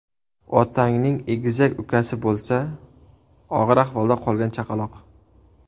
Otangning egizak ukasi bo‘lsa: og‘ir ahvolda qolgan chaqaloq.